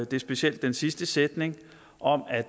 det er specielt den sidste sætning om at